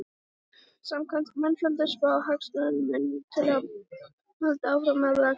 Samkvæmt mannfjöldaspá Hagstofunnar mun íbúatalan halda áfram að vaxa á komandi árum.